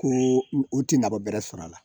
Ko u tɛ nafa bɛrɛ sɔrɔ a la